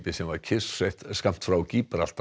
sem var kyrrsett skammt frá